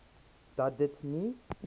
dat dit nie